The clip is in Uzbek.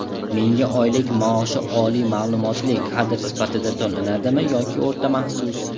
Menga oylik maoshi oliy maʼlumotli kadr sifatida to‘lanadimi yoki o‘rta maxsus?.